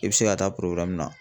I bɛ se ka taa